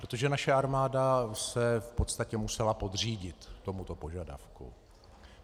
Protože naše armáda se v podstatě musela podřídit tomuto požadavku.